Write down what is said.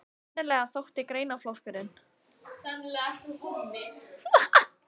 Sennilega þótti greinaflokkurinn